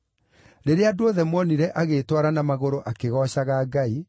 Rĩrĩa andũ othe monire agĩĩtwara na magũrũ akĩgoocaga Ngai,